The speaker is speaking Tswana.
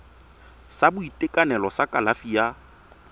sa boitekanelo sa kalafi ya